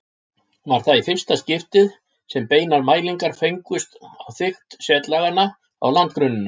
Var það í fyrsta skipti sem beinar mælingar fengust á þykkt setlaganna á landgrunninu.